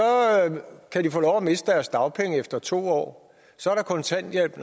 kan de få lov at miste deres dagpenge efter to år så er der kontanthjælp